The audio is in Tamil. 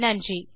நன்றி